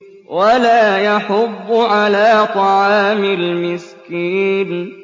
وَلَا يَحُضُّ عَلَىٰ طَعَامِ الْمِسْكِينِ